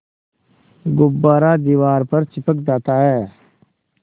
गुब्बारा दीवार पर चिपक जाता है